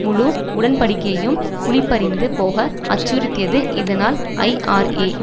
முழு உடன்படிக்கையையும் குழிபறிந்து போக அச்சுறுத்தியது இதனால் ஐஆர்ஏ